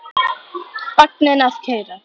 Vagninn að keyra.